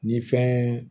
Ni fɛn